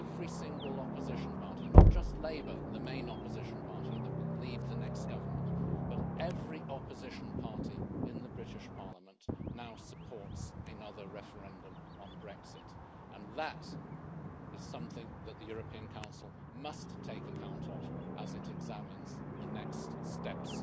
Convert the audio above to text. Every single opposition party, not just Labour the main opposition party that will lead the next government but every opposition party in the British parliament now supports another referendum on Brexit and that is something that the European Council must take account of as it examines the next steps